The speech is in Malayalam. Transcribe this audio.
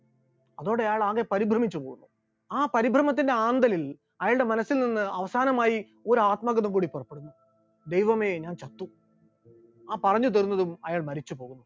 അതോടെ അയാൾ ആകെ പരിഭ്രമിച്ചു പോകുന്നു, ആ പരിഭ്രമത്തിന്റെ ആന്തലിൽ അയാളുടെ മനസ്സിൽ നിന്ന് അവസാനമായി ഒരു ആത്മഗതം കൂടി പുറപ്പെടുന്നു, ദൈവമേ ഞാൻ ചത്തു, ആ പറഞ്ഞു തീർന്നതും അയാൾ മരിച്ചുപോകുന്നു.